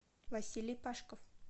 василий пашко